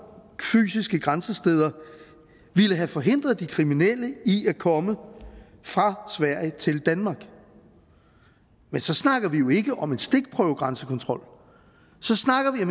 fysiske grænsesteder ville have forhindret de kriminelle i at komme fra sverige til danmark men så snakker vi jo ikke om en stikprøvegrænsekontrol så snakker vi